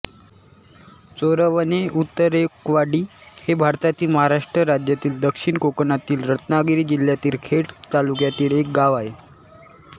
चोरवणे उतेकरवाडी हे भारतातील महाराष्ट्र राज्यातील दक्षिण कोकणातील रत्नागिरी जिल्ह्यातील खेड तालुक्यातील एक गाव आहे